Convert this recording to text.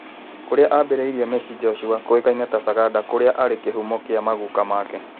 Kũrĩa ambĩrĩirie mĩciĩ jocua kũĩkaine ta Saganda kũrĩa arĩ kĩhumo kĩa maguka make.